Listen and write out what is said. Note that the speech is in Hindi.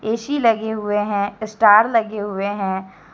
ए_सी लगे हुए हैं स्टार लगे हुए हैं।